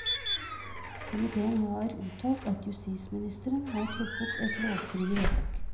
Komitéen har uttalt at justisministeren har truffet et lovstridig vedtak.